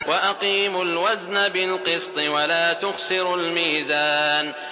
وَأَقِيمُوا الْوَزْنَ بِالْقِسْطِ وَلَا تُخْسِرُوا الْمِيزَانَ